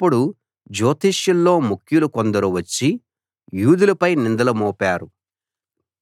అప్పుడు జ్యోతిష్యుల్లో ముఖ్యులు కొందరు వచ్చి యూదులపై నిందలు మోపారు